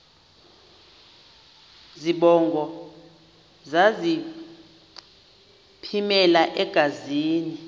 zibongo zazlphllmela engazi